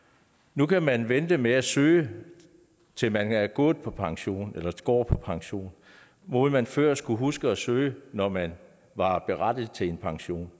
nu kan man vente med at søge til man er gået på pension eller går på pension hvor man før skulle huske at søge når man var berettiget til en pension